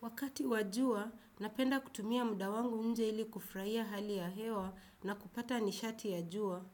Wakati wa jua, napenda kutumia muda wangu nje ili kufurahia hali ya hewa na kupata nishati ya jua.